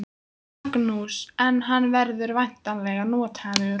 Magnús: En hann verður væntanlega notaður?